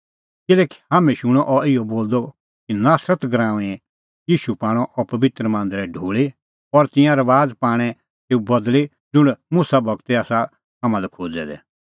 किल्हैकि हाम्हैं शूणअ अह इहअ बोलदअ कि नासरत नगरीए ईशू पाणअ अह पबित्र मांदर ढोल़ी और तिंयां रबाज़ पाणै तेऊ बदल़ी ज़ुंण मुसा गूरै आसा हाम्हां लै खोज़ै दै